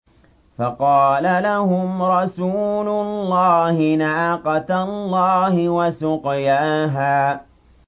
فَقَالَ لَهُمْ رَسُولُ اللَّهِ نَاقَةَ اللَّهِ وَسُقْيَاهَا